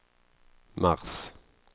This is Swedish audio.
mars